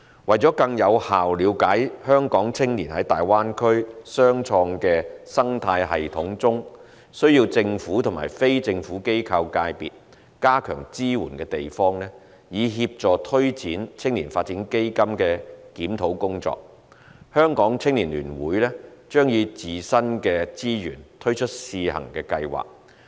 為了更有效了解香港青年在大灣區雙創生態系統中需要政府及非政府機構界別加強支援的地方，以協助推展青年發展基金的檢討工作，香港青年聯會將以自身的資源推出試行計劃。